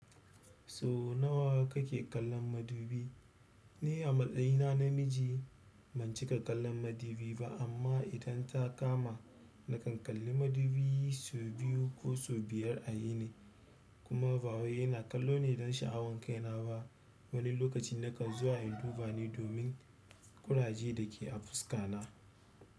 Sau nawa kake kallon madu bi. Ni a matsayina na miji ban cika kallon madubi ba amma idan ta kama na kan kalli madubi sau biyu ko sau biyar a yini kuma ba wai yana kallo ne don sha'awan kaina ba. Wani lokaci na kan zuwa induba ne domin ƙuraje da ke a fuska na.